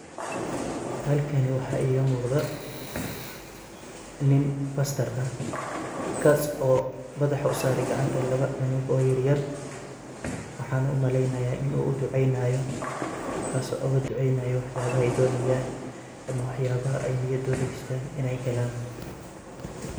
Halkani waxaa iiga muuqdaa nin pastar ah, kaas oo madaha u saaray gacanta laba cunug or yeryer. Waxaana u malaynayaa in uu u ducaynaayo, kaas oo ugu ducaynaayo waxyaaba ay doonayaan ama waxyaabaha ay niyadooda gashtaan inay helan.